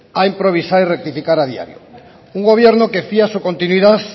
a improvisar y rectificar a diario un gobierno que fía su continuidad